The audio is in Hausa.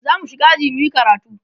zamu shiga aji muyi karatu